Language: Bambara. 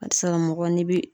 A ti se ka mɔgɔ n'i bi